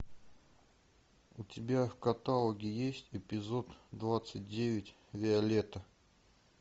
у тебя в каталоге есть эпизод двадцать девять виолетта